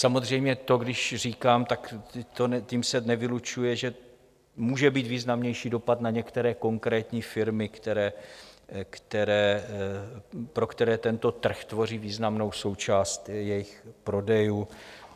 Samozřejmě to když říkám, tak tím se nevylučuje, že může být významnější dopad na některé konkrétní firmy, pro které tento trh tvoří významnou součást jejich prodejů.